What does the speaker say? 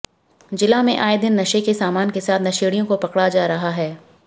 जिला में आए दिन नशे के सामान के साथ नशेडियों को पकड़ा जा रहा है